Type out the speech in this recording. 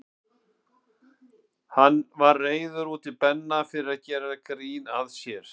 Hann var reiður út í Benna fyrir að gera grín að sér.